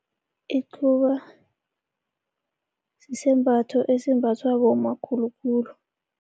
Icuba, sisembatho esimbathwa bomma khulukhulu.